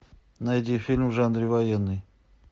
найди фильм в жанре военный